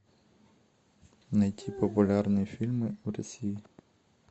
найти популярные фильмы в россии